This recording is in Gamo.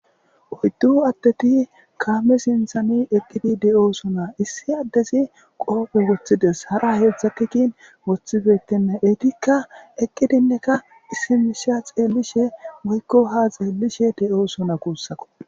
oyddu atteti kaame sinthani eqqidi de7oosonaa issi addezi qoofe woththides hara heedzdzakikin woththifetinne eetikka eqqidinneka isimisha xeellishe woykko ha xeellishe de7oo sona guussako